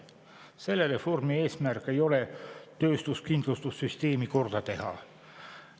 Selle reformi eesmärk ei ole töötuskindlustussüsteemi korda teha.